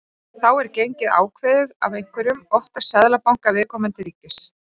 Þá er gengið ákveðið af einhverjum, oftast seðlabanka viðkomandi ríkis.